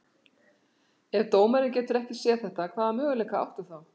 Ef dómarinn getur ekki séð þetta, hvaða möguleika áttu þá?